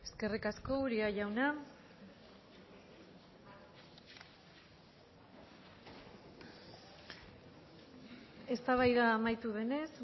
eskerrik asko uria jauna eztabaida amaitu denez